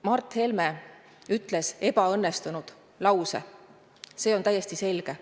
Mart Helme ütles ebaõnnestunud lause, see on täiesti selge.